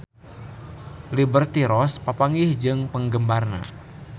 Liberty Ross papanggih jeung penggemarna